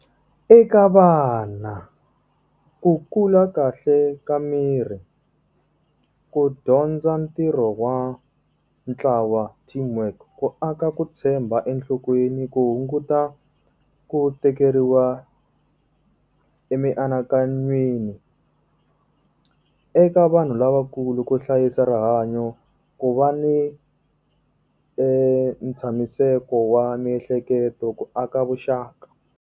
Eka vana. Ku kula kahle ka miri, ku dyondza ntirho wa ntlawa team work, ku aka ku tshemba enhlokweni, ku hunguta ku tekeriwa emianakanyweni. Eka vanhu lavakulu ku hlayisa rihanyo, ku va ni ntshamiseko wa miehleketo, ku aka vuxaka.